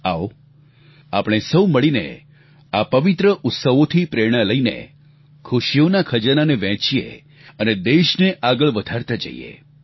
આવો આપણે સહુ મળીને આ પવિત્ર ઉત્સવોથી પ્રેરણા લઈને ખુશીઓના ખજાનાને વહેંચીએ અને દેશને આગળ વધારતા જઈએ